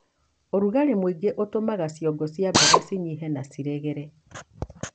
ũrũgarĩ mũingĩ ũtũmaga ciongo cia mboga cinyihe na ciregere.